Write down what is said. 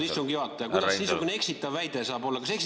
Härra istungi juhataja, kuidas niisugune eksitav väide saab olla?